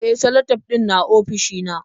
E, salatif ɗin na ofishina.